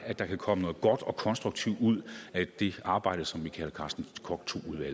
at der kan komme noget godt og konstruktivt ud af det arbejde som vi kalder carsten koch